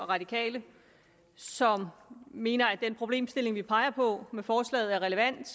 radikale som mener at den problemstilling vi peger på med forslaget er relevant